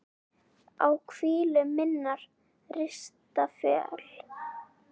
á hvílu minnar rista fjöl